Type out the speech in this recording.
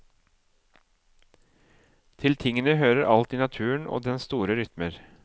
Til tingene hører alt i naturen og dens store rytmer.